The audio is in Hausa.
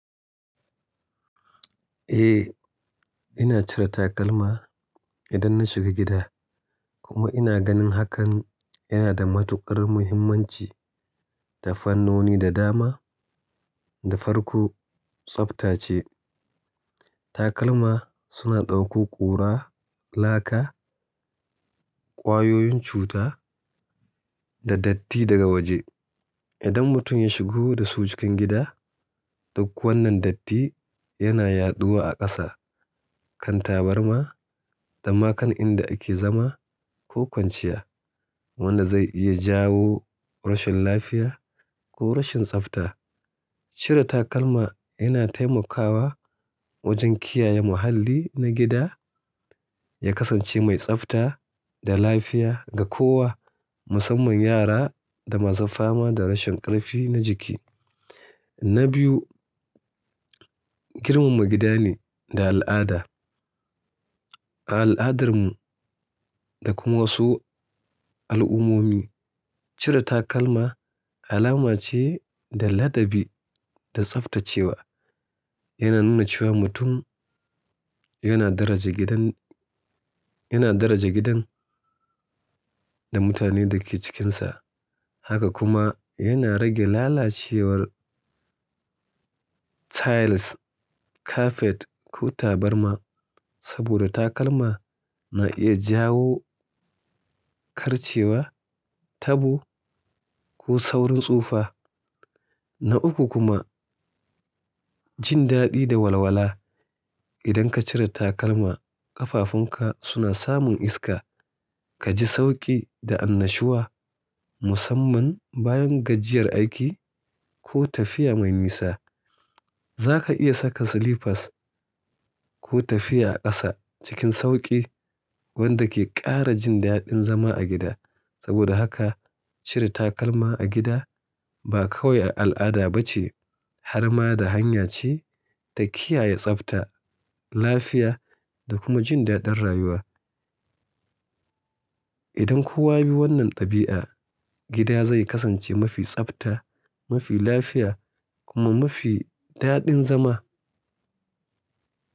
Eh, ina cire takalma idan na shiga gida kuma ina ganin hakan yana da matuƙar muhimmanci da fannoni da dama da farko tsafta ce. Takalma suna ɗauko ƙura, laka, ƙwayoyin cuta da datti daga waje. Idan mutum ya shigo da su cikin gida, duk wannan datti yana yaɗuwa a ƙasa, kan tabarma da ma kan inda ake zama ko kwanciya wanda zai iya jawo rashin lafiya ko rashin tsafta. Cire takalma yana taimakawa wajen kiyaye muhalli na gida, ya kasance mai tsafta da lafiya ga kowa, musamman yara da masu fama da rashin ƙarfi na jiki. Na biyu, girmama gida ne da al'ada. Al'adarmu da kuma wasu al'ummomi cire takalma alama ce da ladabi da tsaftacewa. Yana nuna cewa mutum yana daraja gidan, yana daraja gidan da mutane da ke cikinsa. Haka kuma yana rage lalacewar tiles, kafet ko tabarma. Saboda takalma na iya jawo karcewa, tabo ko saurin tsufa. Na uku kuma jin daɗi da walwala. Idan ka cire takalma ƙafafunka suna samun iska, ka ji sauƙi da annashuwa musamman bayan gajiyar aiki ko tafiya mai nisa. Zaka iya saka slippers ko tafiya a ƙasa cikin sauƙi wanda ke ƙara jin daɗin zama a gida. Saboda haka cire takalma a gida ba kawai al'ada ba ce har ma da hanya ce ta kiyaye tsafta, lafiya da kuma jin daɗin rayuwa. Idan kowa bi wannan ɗabi'a gida zai kasance mafi tsafta, mafi lafiya kuma mafi daɗin zama.